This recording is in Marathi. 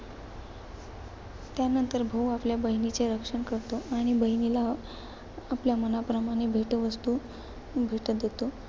त्यानंतर भाऊ आपल्या बहिणीचे रक्षण करतो. आणि बहिणीला, आपल्या मनाप्रमाणे भेटवस्तू भेट देतो.